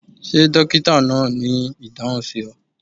Ṣe dokita naa ni idahun si ọ?